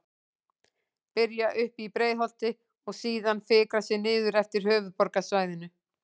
Byrja uppi í Breiðholti og síðan fikra sig niður eftir höfuðborgarsvæðinu.